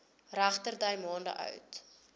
regterdy maande oud